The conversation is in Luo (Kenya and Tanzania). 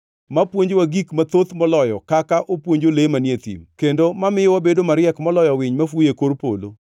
mapuonjowa gik mathoth moloyo kaka opuonjo le manie piny kendo mamiyo wabedo mariek moloyo winy mafuyo e kor polo?’